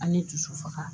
An ye dusu faga